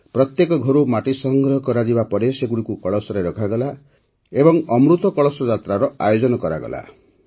ପ୍ରତ୍ୟେକ ଘରୁ ମାଟି ସଂଗ୍ରହ କରାଯିବା ପରେ ସେଗୁଡ଼ିକୁ କଳସରେ ରଖାଗଲା ଏବଂ ଅମୃତ କଳସ ଯାତ୍ରାର ଆୟୋଜନ କରାଗଲା